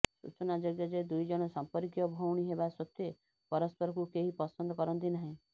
ସୂଚନାଯୋଗ୍ୟ ଯେ ଦୁଇଜଣ ସଂପର୍କୀୟ ଭଉଣୀ ହେବା ସତ୍ବେ ପରସ୍ପରକୁ କେହି ପସନ୍ଦ କରନ୍ତି ନାହିଁ